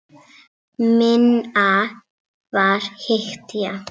Minna var hetja.